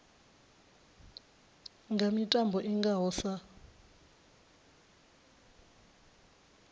nga mitambo i ngaho sa